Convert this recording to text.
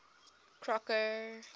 crocker